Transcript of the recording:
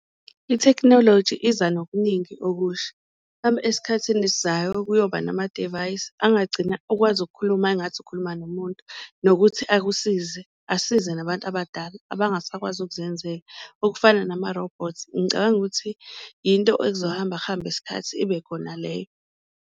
Ithekhinoloji iza nokuningi okusha esikhathini esizayo kuyoba namadivayisi angagcina ukwazi ukukhuluma engathi ukhuluma nomuntu, nokuthi akusize asize nabantu abadala abangasakwazi ukuzenzela okufana namarobhothi. Ngicabanga ukuthi yinto ekuzohamba kuhambe isikhathi ibe khona leyo.